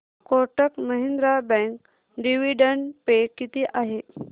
Kotak Mahindra bank dividend pay किती आहे